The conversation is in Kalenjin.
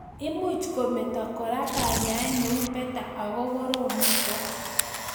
Much komito kora kanyaet neu Beta ako korom nitok